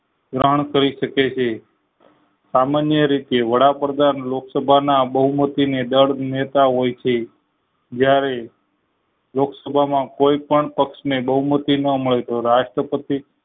કરી શકે છે સામાન્ય રીતે વડાપ્રધાન લોકસભાના બહુમતી ના જરજ નેતા હોય છે જયારે લોક સભા માં કોઈ પણ પક્ષ ને બહુમતી ના મળે તો રાષ્ટ્રપતિ